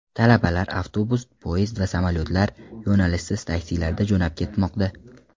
Talabalar avtobus, poyezd va samolyotlar, yo‘nalishsiz taksilarda jo‘nab ketmoqda.